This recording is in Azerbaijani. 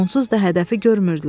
Onsuz da hədəfi görmürdülər.